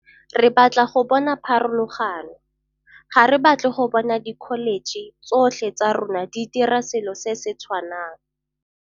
Re batla go bona pharologano. Ga re batle go bona dikholetšhe tsotlhe tsa rona di dira selo se se tshwanang.